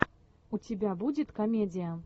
у тебя будет комедия